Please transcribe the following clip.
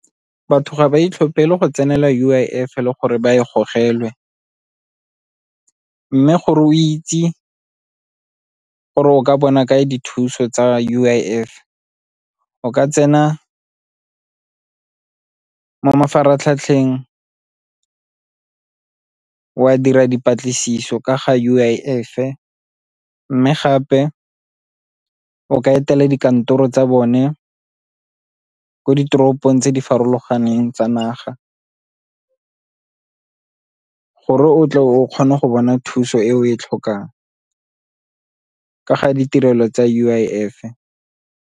Batho ga ba itlhophele go tsenela U_I_F le gore ba e gogelwe mme gore o itse gore o ka bona kae dithuso tsa U_I_F o ka tsena mo mafaratlhatlheng wa dira dipatlisiso ka ga U_I_F-e. Mme gape o ka etela dikantoro tsa bone ko ditoropong tse di farologaneng tsa naga gore o tle o kgona go bona thuso e o e tlhokang ka ga ditirelo tsa U_I_F-e.